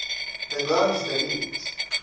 the ground is the limit